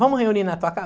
Vamos reunir na tua casa?